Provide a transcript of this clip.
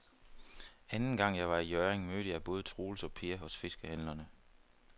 Anden gang jeg var i Hjørring, mødte jeg både Troels og Per hos fiskehandlerne.